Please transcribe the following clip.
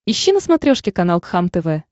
ищи на смотрешке канал кхлм тв